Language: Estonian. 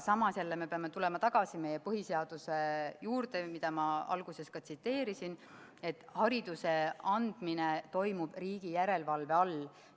Samas jälle me peame tulema tagasi meie põhiseaduse juurde, mida ma alguses ka tsiteerisin, et hariduse andmine toimub riigi järelevalve all.